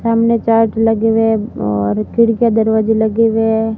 सामने चार्ज लगे हुए और खिड़कियां दरवाजे लगे हुए--